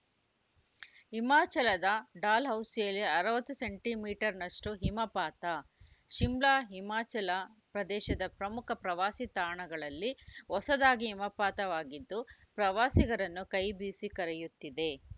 ಹಿಮಾಚಲದ ಡಾಲ್‌ಹೌಸಿಯಲ್ಲಿ ಅರವತ್ತು centimetre ನಷ್ಟುಹಿಮಪಾತ ಶಿಮ್ಲಾ ಹಿಮಾಚಲ ಪ್ರದೇಶದ ಪ್ರಮುಖ ಪ್ರವಾಸಿ ತಾಣಗಳಲ್ಲಿ ಹೊಸದಾಗಿ ಹಿಮಪಾತವಾಗಿದ್ದು ಪ್ರವಾಸಿಗರನ್ನು ಕೈ ಬೀಸಿ ಕರೆಯುತ್ತಿದೆ